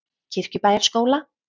Kirkjubæjarskóla